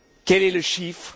Quel est le chiffre?